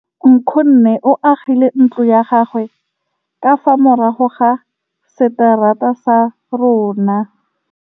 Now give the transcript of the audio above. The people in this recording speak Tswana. Nkgonne o agile ntlo ya gagwe ka fa morago ga seterata sa rona.